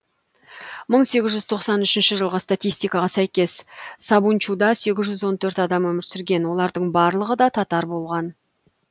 мың сегіз жүз тоқсан үшінші жылғы статистикаға сәйкес сабунчуда сегіз жүз он төрт адам өмір сүрген олардың барлығы да таттар болған